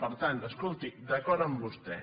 per tant escolti d’acord amb vostè